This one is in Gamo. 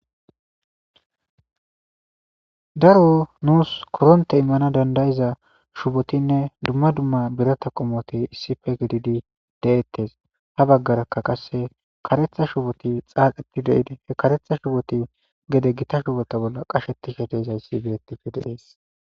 Daro nussi korrontte imanassi dandda'za shubottine dumma dumma birrata qommoti issippe giididi detees.ha baggara qase kareththa shubottii xaaxettidi gede Gita shubotta bolla qashettishe dizayssa beetees